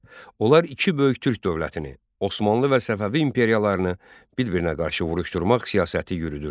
Onlar iki böyük türk dövlətini, Osmanlı və Səfəvi imperiyalarını bir-birinə qarşı vuruşdurmaq siyasəti yürüdürdülər.